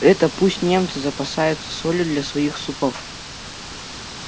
это пусть немцы запасаются солью для своих супов